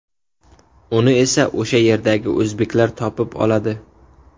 Uni esa o‘sha yerdagi o‘zbeklar topib oladi.